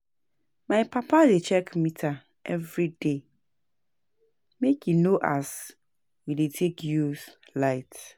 My papa dey check meter everyday make e know as we dey take use light.